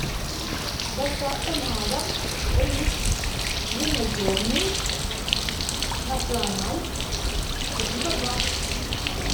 доставка на дом рис длиннозерный националь восемьсот грамм